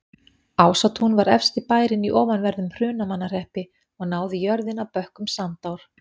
Ásatún var efsti bærinn í ofanverðum Hrunamannahreppi og náði jörðin að bökkum Sandár.